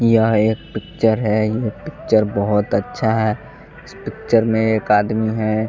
यह एक पिक्चर है ये पिक्चर बहुत अच्छा है इस पिक्चर में एक आदमी है.